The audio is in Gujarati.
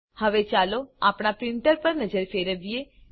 હવે ચાલો આપણા પ્રીંટર પર નજર ફેરવીએ